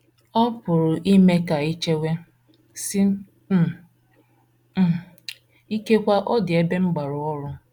Ọ um pụrụ ime ka i chewe, sị um, um ‘ Ikekwe, ọ dị ebe m gbara ọrụ.